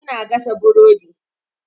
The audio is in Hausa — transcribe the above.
Su na gasa burodi.